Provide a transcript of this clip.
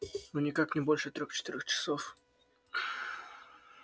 ну никак не больше трёх-четырёх часов